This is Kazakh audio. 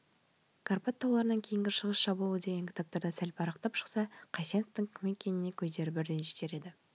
карпат тауларынан кейінгі шығыс шабуылы деген кітаптарды сәл парақтап шықса қайсеновтің кім екеніне көздері бірден жетер еді